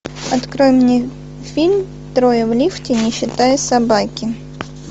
открой мне фильм трое в лифте не считая собаки